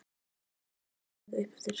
Hvernig eiga þær að komast hingað uppeftir?